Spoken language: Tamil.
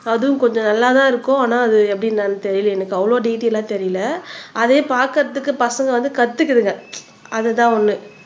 அதும் கொஞ்சம் நல்லா தான் இருக்கும் ஆனா அது எப்படி என்னன்னு தெரியல எனக்கு அவ்வளவு டிடெய்லா தெரியல அதே பாக்குறதுக்கு பசங்க வந்து கத்துக்குதுங்க அதுதான் ஒண்ணு